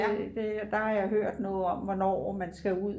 der har jeg hørt noget om hvornår man skal ud